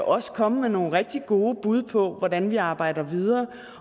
også komme med nogle rigtig gode bud på hvordan vi arbejder videre